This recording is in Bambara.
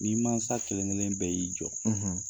Ni mansa kelen-kelen bɛɛ y'i jɔ